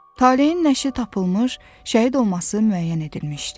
Talehin nəşri tapılmış, şəhid olması müəyyən edilmişdi.